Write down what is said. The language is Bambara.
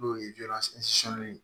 N'o ye ye